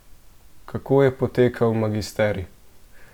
Kako je potekal magisterij?